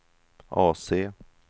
AC